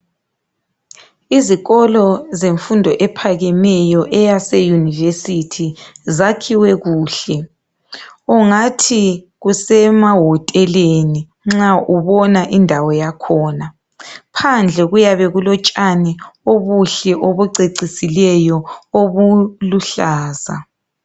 Izikolo zemfundo ephakemeyo eyase yunivesithi zakhiwe kuhle ungathi kusemahoteleni nxa ubona indawo yakhona phandle kuuyabe kulotshani obuhle obucecisileyo obuluhlaza.